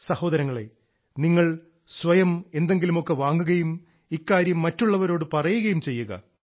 സഹോദരങ്ങളെ നിങ്ങൾ സ്വയം എന്തെങ്കിലുമൊക്കെ വാങ്ങുകയും ഇക്കാര്യം മറ്റുള്ളവരോടും പറയുകയും ചെയ്യുക